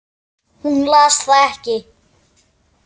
Hún las það ekki.